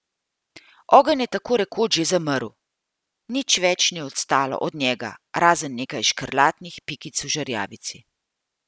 Ogenj je tako rekoč že zamrl, nič več ni ostalo od njega, razen nekaj škrlatnih pikic v žerjavici.